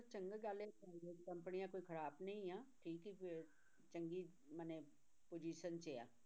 ਚੰਗਾ ਗੱਲ ਹੈ private companies ਕੋਈ ਖ਼ਰਾਬ ਨਹੀਂ ਹੈ ਠੀਕ ਹੀ ਹੈੈ ਚੰਗੀ ਮਨੇ position 'ਚ ਆ।